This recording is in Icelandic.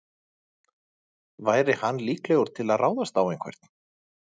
Væri hann líklegur til að ráðast á einhvern?